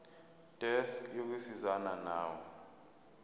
desk yokusizana nawe